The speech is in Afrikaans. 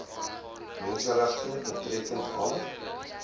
menseregte betreffende alle